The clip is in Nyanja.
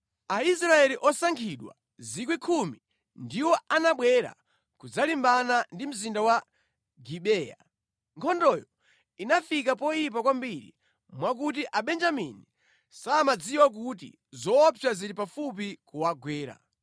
Aisraeli osankhidwa 10,000 ndiwo anabwera kudzalimbana ndi mzinda wa Gibeya. Nkhondoyo inafika poyipa kwambiri mwakuti Abenjamini samadziwa kuti zoopsa zili pafupi kuwagwera.